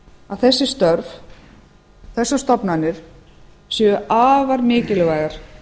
að þessi störf þessar stofnanir séu afar mikilvægar